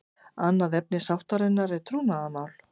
Annað efni sáttarinnar er trúnaðarmál